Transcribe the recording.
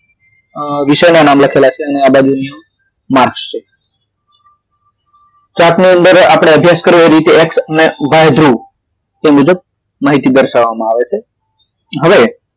અ વિષયના નામ લખેલા છે આ બાજુ માર્કસ છે chart ની અંદર આપડે અભ્યાસ કરવાની રીતે એક્સ અને વાય ધ્રુવ તે મુજબ માહિતી દર્શાવવામાં આવે છે હવે